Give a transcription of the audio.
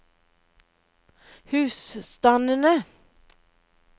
husstandene